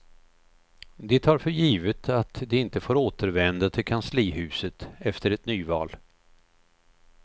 De tar för givet att de inte får återvända till kanslihuset efter ett nyval.